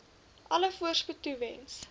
alle voorspoed toewens